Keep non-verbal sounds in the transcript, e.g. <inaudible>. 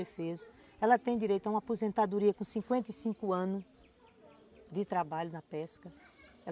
<unintelligible> Ela tem direito a uma aposentadoria com cinquenta e cinco anos de trabalho na pesca.